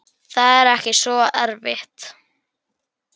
Það er ekki svo erfitt.